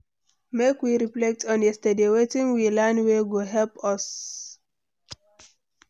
Make we reflect on yesterday, wetin we learn wey go help us?